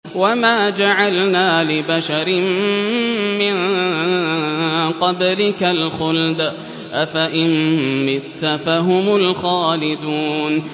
وَمَا جَعَلْنَا لِبَشَرٍ مِّن قَبْلِكَ الْخُلْدَ ۖ أَفَإِن مِّتَّ فَهُمُ الْخَالِدُونَ